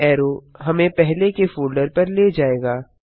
back arrow हमें हमें पहले के फोल्डर पर ले जायेगा